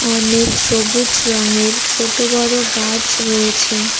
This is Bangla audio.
অনেক সবুজ রঙের ছোট বড় গাছ রয়েছে।